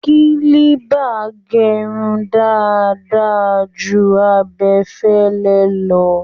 Kílíbà ń gẹrun dáadáa ju abẹfẹ́lẹ́ lọ